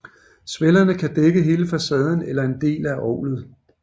Svellerne kan dække hele facaden eller en del af orglet